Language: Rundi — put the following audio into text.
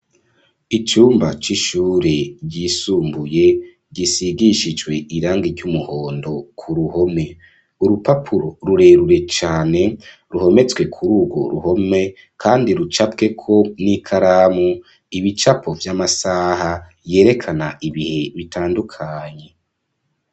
Icumba c'ishure ryisumbuye gisigishijwe irangi ry'umuhondo ku ruhome, urupapuro rurerure cane ruhometswe kuri urwo ruhome, kandi rucapweko n'ikaramu ibicapo vy'amasaha yerekana ibihe bitandukanye.